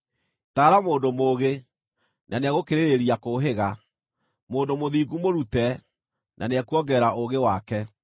Taara mũndũ mũũgĩ na nĩegũkĩrĩrĩria kũũhĩga; mũndũ mũthingu mũrute, na nĩekuongerera ũũgĩ wake.